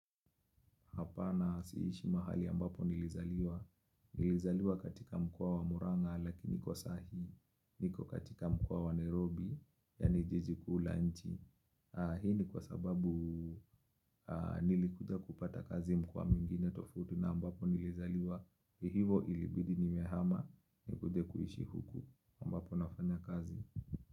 Hapana si ishi mahali ambapo nilizaliwa. Nilizaliwa katika mkoa wa Muranga lakini kwa sahii. Niko katika mkoa wa Nairobi. Yaani jiji kuu la nchi. Hii ni kwa sababu nilikuja kupata kazi mkoa mwingine tofauti na ambapo nilizaliwa. Hivo ilibidi nimehama na kuja kuishi huku ambapo nafanya kazi.